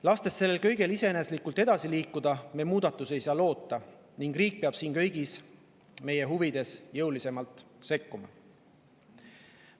Lastes sellel kõigel iseeneslikult edasi liikuda, ei saa me muudatusi loota, nii et riik peab siin kõigi meie huvides jõulisemalt sekkuma.